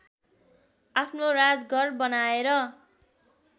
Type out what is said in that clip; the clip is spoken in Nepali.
आफ्नो राजघर बनाएर